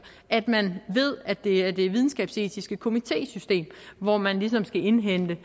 at man ved at det er det videnskabsetiske komitésystem hvor man ligesom skal indhente